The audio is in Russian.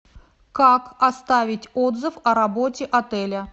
как оставить отзыв о работе отеля